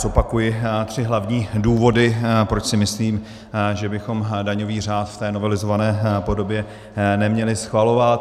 Zopakuji tři hlavní důvody, proč si myslím, že bychom daňový řád v té novelizované podobě neměli schvalovat.